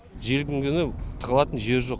желдің күні тығылатын жер жоқ